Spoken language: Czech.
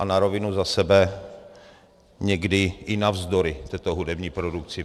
A na rovinu za sebe někdy i navzdory této hudební produkci.